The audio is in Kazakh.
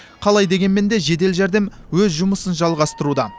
қалай дегенмен де жедел жәрдем өз жұмысын жалғастыруда